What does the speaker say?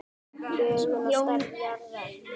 Lögun og stærð jarðar